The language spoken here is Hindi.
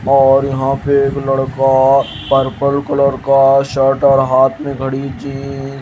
और यहां पे एक लड़का पर्पल कलर का शर्ट और हाथ में घड़ी चि--